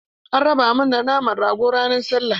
An raba mana naman rago ran sallah.